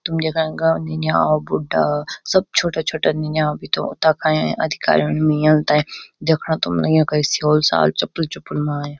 तुम देख्नां इंका निन्याव बुड्डा सब छोटा-छोटा निन्याव भी तो तख अयां अधिकारी नियम ते देखणा तुम युंका स्योल-साल चप्पल-चुप्पल मा अयां।